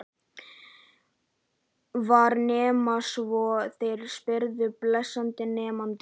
Var nema von þeir spyrðu, blessaðir mennirnir!